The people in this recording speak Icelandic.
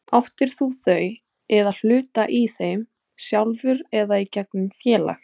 Áttir þú þau eða hluta í þeim, sjálfur eða í gegnum félag?